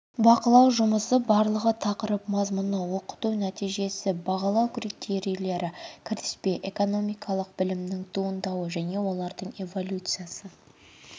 бақылау жұмысы барлығы тақырып мазмұны оқыту нәтижесі бағалау критерийлері кіріспе экономикалық білімнің туындауы және олардың эволюциясы